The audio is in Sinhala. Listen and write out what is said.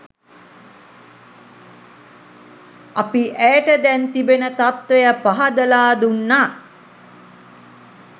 අපි ඇයට දැන් තිබෙන තත්වය පහදලා දුන්න.